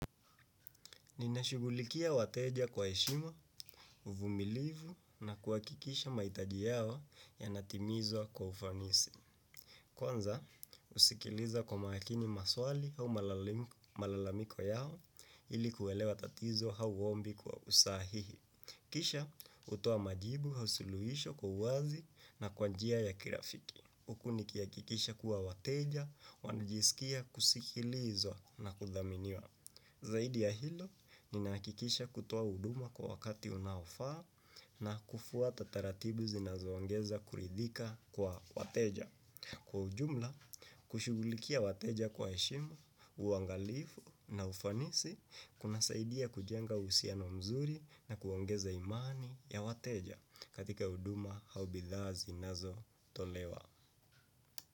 Ninashugulikia wateja kwa heshima, uvumilivu na kuhakikisha mahitaji yao yanatimizwa kwa ufanisi. Kwanza, usikiliza kwa makini maswali au malalamiko yao, ilikuelewa tatizo au ombi kwa usahihi. Kisha, hutoa majibu au suluhisho kwa uwazi na kwa njia ya kirafiki. Huku nikihakikisha kuwa wateja, wanajisikia kusikilizwa na kuthaminiwa. Zaidi ya hilo, ninakikisha kutoa huduma kwa wakati unaofaa na kufuata taratibu zinazoongeza kuridhika kwa wateja. Kwa ujumla, kushughulikia wateja kwa heshima, uangalifu na ufanisi, kunasaidia kujenga uhusiano mzuri na kuongeza imani ya wateja katika huduma au bidhaa zinazotolewa.